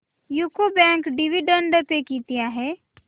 UCO bank dividend pay किती आहे